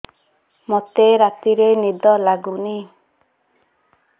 ମୋତେ ରାତିରେ ନିଦ ଲାଗୁନି